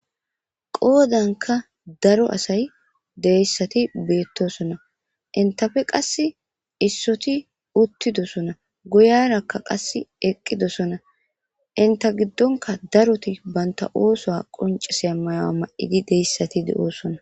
Qoddanikka daro asayo de'iyassati betosona.entappe qasi issiotti uttidosona guyiyarakka qase eqqidosona .entta giddonkka daroti banitta oththuwa ma''iddi dizayissati qonccosona.